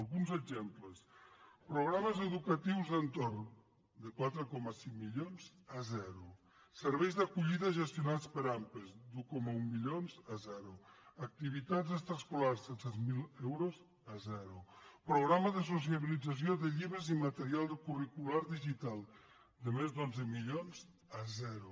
alguns exemples programes educatius d’entorn de quatre coma cinc milions a zero serveis d’acollida gestionats per ampa d’un coma un milions a zero activitats extraescolars de set cents miler euros a zero programa de socialització de llibres i material curricular digital de més d’onze milions a zero